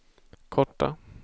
korta